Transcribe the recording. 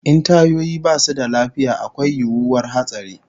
In tayoyi basu da lafiya akwai yiwuwar hatsari